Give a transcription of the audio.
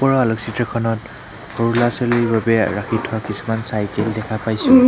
আলোকচিত্ৰখনত সৰু ল'ৰা-ছোৱালীৰ বাবে ৰাখি থোৱা কিছুমান চাইকেল দেখা পাইছোঁ।